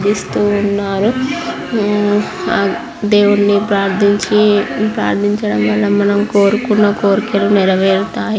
ప్రార్థిస్తూ ఉన్నారు. దేవున్ని ప్రార్థించి ప్రార్ధించడం వల్ల మనం కోరుకున్న కోరికలు నెరవేరుతాయి.